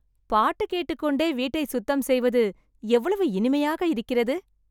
பாட்டு கேட்டுக் கொண்டே வீட்டை சுத்தம் செய்வது, எவ்வளவு இனிமையாக இருக்கிறது